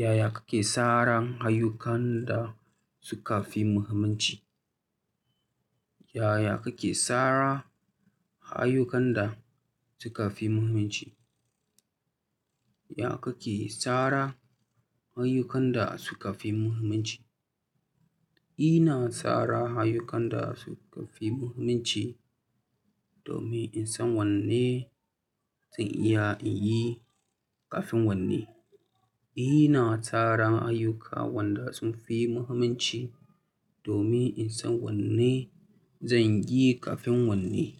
Yaya kake tsaran ayyukan da suka fi muhimmanci? Yaya kake tsara ayyukan da suka fi muhimmanci? Ya kake tsara ayyukan da suka fi muhimmanci? Ina tsara ayyukan da suka fi muhimmanci domin in san wanne zan iya in yi kafin wanne. Ina tsara ayyuka waɗanda sun fi muhimmanci domin in san wanne zan yi kafin wanne.